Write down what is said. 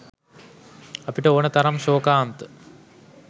අපට ඕනෙ තරම් ශෝකාන්ත